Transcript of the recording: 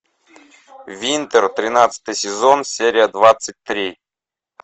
винтер тринадцатый сезон серия двадцать три